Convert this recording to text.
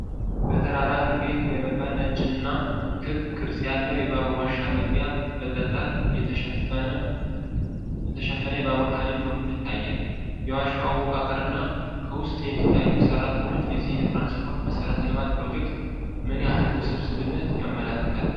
በተራራ ግርጌ የተገነባ ነጭና ክብ ቅርጽ ያለው የባቡር ዋሻ መግቢያ በጠጠር በተሸፈነ የባቡር ሐዲድ በኩል ይታያል፤ የዋሻው አወቃቀር እና ከውስጥ የሚታዩት ሠራተኞች የዚህን የትራንስፖርት መሠረተ ልማት ፕሮጀክት ምን ያህል ውስብስብነት ያመለክታሉ?